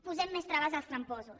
posem més traves als tramposos